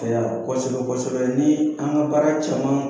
kosɛbɛ kosɛbɛ ni an ka baara caman